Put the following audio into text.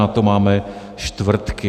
Na to máme čtvrtky.